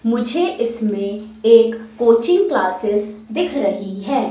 मुझे इसमें एक कोचिंग क्लासेस दिख रही है।